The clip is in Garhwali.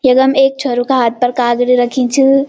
यखम ऐक छोरो का हाथ पर काग्रि रखीं च।